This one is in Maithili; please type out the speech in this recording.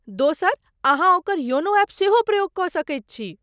दोसर, अहाँ ओकर योनो एप सेहो प्रयोग कऽ सकैत छी।